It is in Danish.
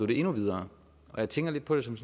det endnu videre jeg tænker lidt på det som